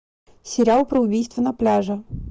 сериал про убийство на пляже